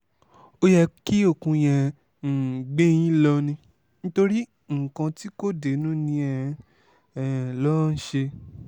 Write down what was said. ó yẹ kí okùn yẹn um gbé yín lọ ni nítorí nǹkan tí kò dénú ni ẹ um lọ́ọ́ ṣe